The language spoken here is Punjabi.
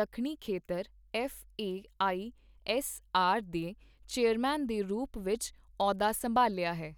ਦੱਖਣੀ ਖੇਤਰ F A I S R ਦੇ ਚੇਅਰਮੈਨ ਦੇ ਰੂਪ ਵਿੱਚ ਅਹੁਦਾ ਸੰਭਾਲਿਆ ਹੈ।